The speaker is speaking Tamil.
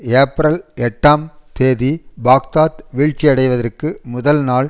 ஏப்ரல் எட்டாம் தேதி பாக்தாத் வீழ்ச்சியடைவதற்கு முதல் நாள்